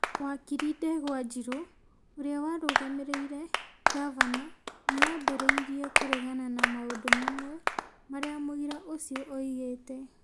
Wakiri Ndegwa Njirũ, ũrĩa warũgamĩrĩire Ngavana, nĩ aambĩrĩirie kũregana na maũndũ mamwe marĩa mũira ũcio oigĩte ,